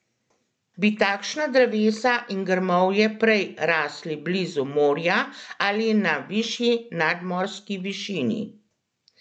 Bi takšna drevesa in grmovje prej rasli blizu morja ali na višji nadmorski višini?